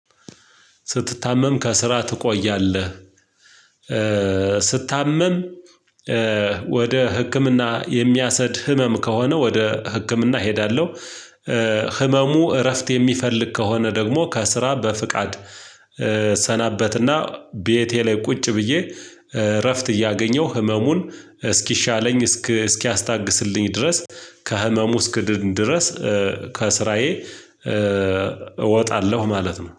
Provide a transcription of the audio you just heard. ስትታመም ከስራ ትቆያለህ? ስታመም ወደ ህክምና የሚያስኬድ ህመም ከሆነ ወደ ህክምና እሄዳለሁ። ህመሙ እረፍት የሚፈልግ ከሆነ ደግሞ ከስራ በፍቃድ። እሰናበትና ቤቴ ላይ ቁጭ ብዬ እረፍት እያገኘሁ ህመሙን እስኪሻለኝ እስኪ እስኪያስታግስልኝ ድረስ ከህመሙ እስክድን ድረስ። ከስራዬ እወጣለሁ ማለት ነው